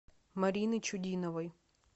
марины чудиновой